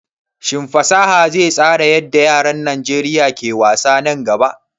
Shin fasaha zai tsara yadda yaran Najeriya ke wasa nan gaba?